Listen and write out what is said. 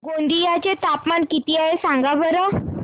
गोंदिया चे तापमान किती आहे सांगा बरं